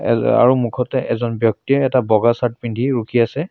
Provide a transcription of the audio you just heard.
এ আৰু মুখতে এজন ব্যক্তিয়ে এটা বগা চাৰ্ট পিন্ধি ৰখি আছে।